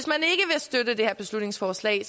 støtte det her beslutningsforslag